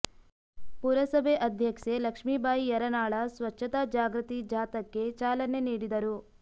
ಪುರಸಭೆ ಅಧ್ಯಕ್ಷೆ ಲಕ್ಷಿಂಬಾಯಿ ಯರನಾಳ ಸ್ವಚ್ಛತಾ ಜಾಗೃತಿ ಜಾಥಾಕ್ಕೆ ಚಾಲನೆ ನೀಡಿದರು